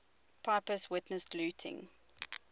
pepys witnessed looting